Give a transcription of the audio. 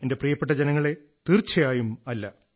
എന്റെ പ്രിയപ്പെട്ട ജനങ്ങളേ തീർച്ചയായും അല്ല